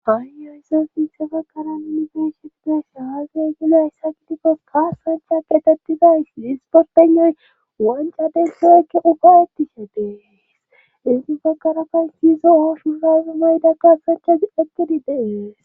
Haayyo yse fiisse bakara ninifeshifinashahazi gilo hayssa kitikkos qaasancha getettidays hisportenay wanca denso ekke ugaweti shadees isgi bakara kan siyzo oshu sayzumayda gasancha ekkidi dees